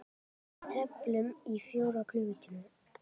Við tefldum í fjóra klukkutíma!